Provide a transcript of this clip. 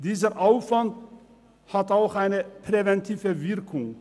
Dieser Aufwand hat auch eine präventive Wirkung.